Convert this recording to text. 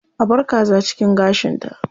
A bar kaza cikin gashinta.